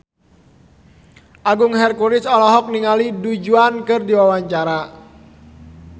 Agung Hercules olohok ningali Du Juan keur diwawancara